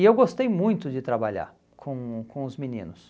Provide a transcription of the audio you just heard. E eu gostei muito de trabalhar com o com os meninos.